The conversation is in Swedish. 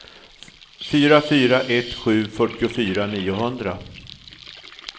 fyra fyra ett sju fyrtiofyra niohundra